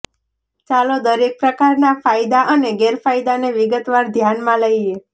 ચાલો દરેક પ્રકારનાં ફાયદા અને ગેરફાયદાને વિગતવાર ધ્યાનમાં લઈએ